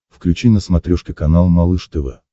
включи на смотрешке канал малыш тв